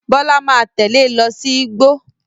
Bọ́lá máa tẹ̀lé ẹ lọ sí igbó.